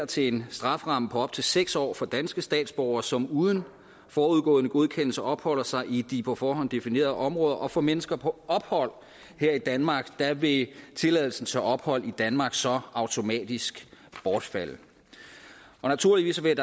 til en strafferamme på op til seks års fængsel for danske statsborgere som uden forudgående godkendelse opholder sig i de på forhånd definerede områder og for mennesker på ophold her i danmark vil tilladelsen til ophold i danmark så automatisk bortfalde naturligvis vil